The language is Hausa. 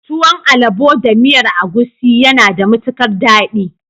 Tuwon alabo da miyar agusi yana da matukar dadi.